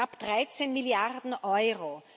Knapp 13 Milliarden Euro!